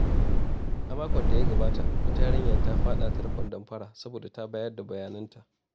A makon da ya gabata, wata yarinya ta faɗa tarkon damfara saboda ta bayar da bayananta.